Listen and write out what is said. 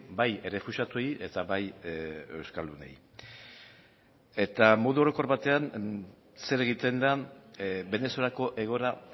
bai errefuxiatuei eta bai euskaldunei eta modu orokor batean zer egiten den venezuelako egoera